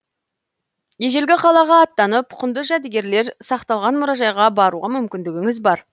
ежелгі қалаға аттанып құнды жәдігерлер сақталған мұражайға баруға мүмкіндігіңіз бар